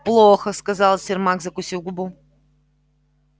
плохо сказал сермак закусив губу